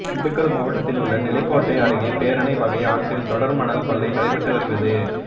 திண்டுக்கல் மாவட்டத்தில் உள்ள நிலக்கோட்டை அருகே பேரணை வைகை ஆற்றில் தொடர் மணல் கொள்ளை நடைபெற்று வருகிறது